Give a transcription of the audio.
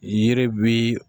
Yiri bi